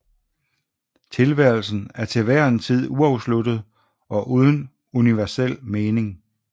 Tilværelsen er til hver en tid uafsluttet og uden universel mening